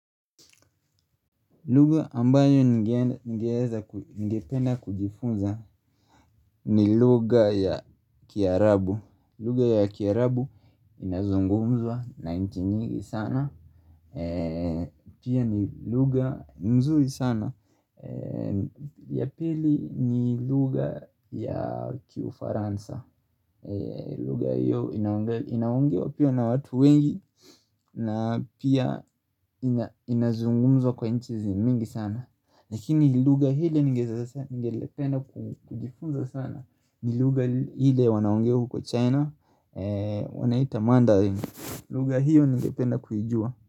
Luga ambayo ningependa kujifunza ni luga ya kiarabu Luga ya kiarabu inazungumzwa na inchi nyingi sana Pia ni luga mzuri sana Yapili ni luga ya kiufaransa Luga hiyo inaongewa pia na watu wengi na pia inazungumzwa kwa inchi zimingi sana Nikini luga hile ngelependa kujifunza sana ni luga hile wanaongea huko China wanaita mandarin Luga hio ningependa kuijua.